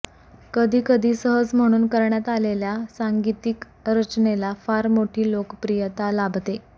कधी कधी सहज म्हणून करण्यात आलेल्या सांगीतिक रचनेला फार मोठी लोकप्रियता लाभते